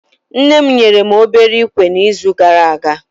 Nne mụ nyere mụ obere ikwe na izu gara aga